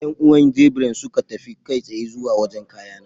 Yan'uwan Gabriel suka tafi kai tsaye zuwa wajen kayana.